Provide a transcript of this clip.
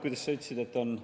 Kuidas sa ütlesid?